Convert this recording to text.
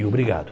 Obrigado.